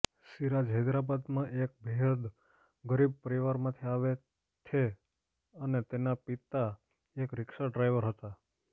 સિરાજ હૈદરાબાદમાં એક બેહદ ગરીબ પરિવારમાંથી આવે થે અને તેના પિતા એક રિક્ષા ડ્રાઇવર હતા